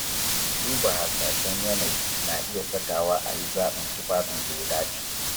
Duba hasashen yanayi na iya sakawa a yi zaɓin tufafin da ya dace.